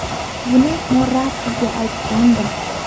Buni Morattiga aytgandim.